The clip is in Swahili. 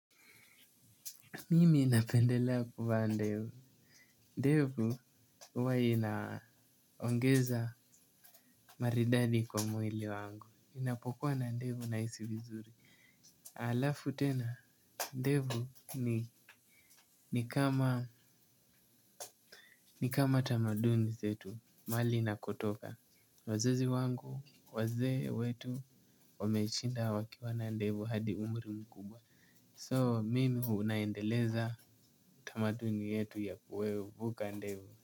Mimi napendelea kuvaa ndevu. Ndevu, huwa inaongeza maridadi kwa mwili wangu. Inapokuwa na ndevu na isi vizuri. Alafu tena, ndevu ni ni kama tamaduni zetu, mali inakotoka, wazazi wangu, wazee wetu, wameshinda wakiwa na ndevu hadi umri mkubwa. So, mimi unaendeleza tamaduni yetu ya kuwe ubuka ndevu.